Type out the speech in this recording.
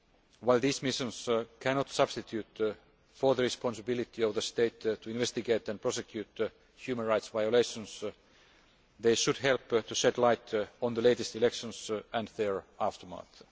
While these missions cannot substitute for the responsibility of the state to investigate and prosecute human rights violations, they should help to shed light on the latest elections and their aftermath.